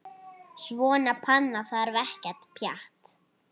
Svona panna þarf ekkert pjatt.